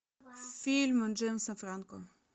фильмы джеймса франко